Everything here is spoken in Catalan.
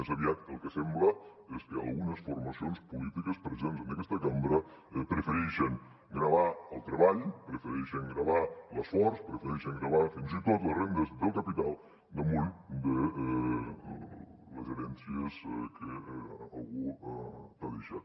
més aviat el que sembla és que algunes formacions polítiques presents en aquesta cambra prefereixen gravar el treball prefereixen gravar l’esforç prefereixen gravar fins i tot les rendes del capital damunt de les herències que algú t’ha deixat